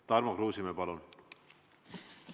Tarmo Kruusimäe, palun!